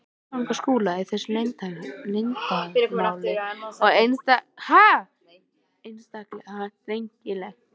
Framganga Skúla í þessu leiðindamáli var einstaklega drengileg.